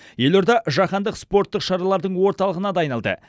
елорда жаһандық спорттық шаралардың орталығына да айналды